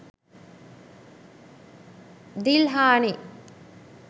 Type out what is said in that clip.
dilhani